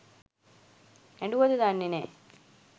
ඇඬුවද දන්නේ නෑ